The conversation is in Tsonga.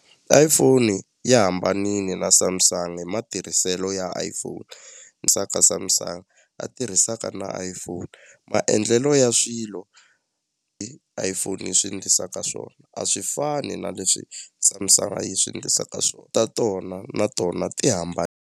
iPhone yi hambanini na Samsung hi matirhiselo ya iPhone Samsung a tirhisaka na iPhone maendlelo ya swilo hi iPhone yi swi ndlisaka swona a swi fani na leswi samsung yi swi endlisaka swona ta tona na tona ti .